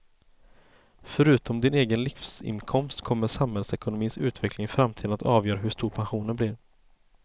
Förutom din egen livsinkomst kommer samhällsekonomins utveckling i framtiden att avgöra hur stor pensionen blir.